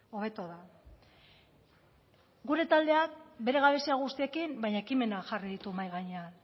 hobeto da gure taldeak bere gabezia guztiekin baina ekimena jarri ditu mahai gainean